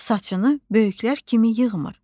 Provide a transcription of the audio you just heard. Saçını böyüklər kimi yığmır.